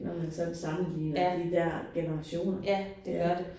Når man sådan sammenligner de der generationer det er